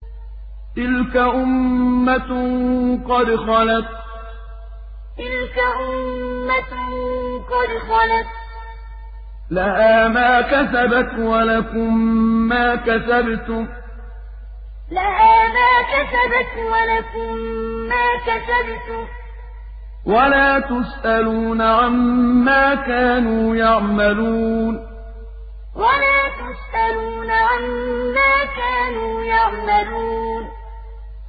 تِلْكَ أُمَّةٌ قَدْ خَلَتْ ۖ لَهَا مَا كَسَبَتْ وَلَكُم مَّا كَسَبْتُمْ ۖ وَلَا تُسْأَلُونَ عَمَّا كَانُوا يَعْمَلُونَ تِلْكَ أُمَّةٌ قَدْ خَلَتْ ۖ لَهَا مَا كَسَبَتْ وَلَكُم مَّا كَسَبْتُمْ ۖ وَلَا تُسْأَلُونَ عَمَّا كَانُوا يَعْمَلُونَ